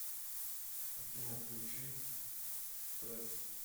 афина включи стресс